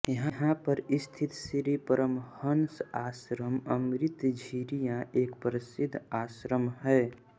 यहा पर स्थित श्री परमहंस आश्रम अमृत झिरिया एक प्रसिध आश्रम है